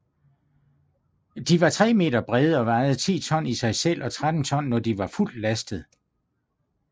De var tre meter brede og vejede 10 ton i sig selv og 13 ton når de var fuldt lastet